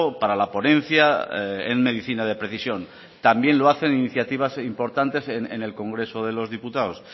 para la ponencia en medicina de precisión también lo hacen iniciativas importantes en el congreso de los diputados